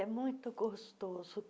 é muito gostoso.